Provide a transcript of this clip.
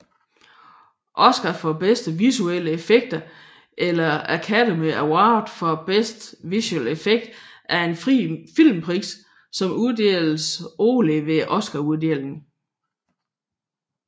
Oscar for bedste visuelle effekter eller Academy Award for Best Visual Effects er en filmpris som uddeles årligt ved Oscaruddelingen